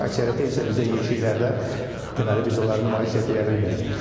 Əksəriyyəti isə bizdə yeşiklərdə deməli biz onları nümayiş etdirə bilmirik.